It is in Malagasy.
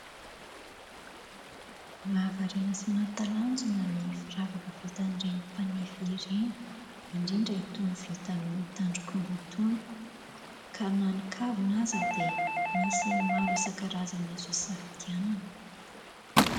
Mahavariana sy mahatalanjona ny firavaka vitan'ireny mpanefy ireny, indrindra itony vita amin'ny tandrok'omby itony. Ka na ny kavina aza dia misy maro isan-karazany azo hisafidianana.